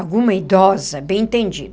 Alguma idosa, bem entendida.